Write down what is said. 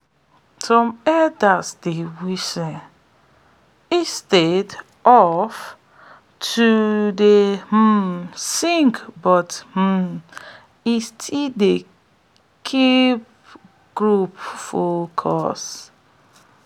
some elders dey whistle instead of to dey um sing but um it still dey keep de group focused